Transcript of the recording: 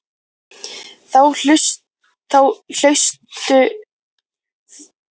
Þá hlaustu að eignast merkilega konu.